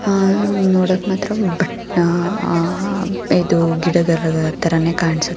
ಆ ಇದು ನೋಡಕ್ ಮಾತ್ರ ಬಟ್ ಆ ಗಿಡ ತರಾನೇ ಕಾಣ್ಸು--